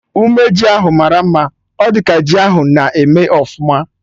Ume ji ahụ mara mma, ọ dị ka ji ahụ na-eme ọfụma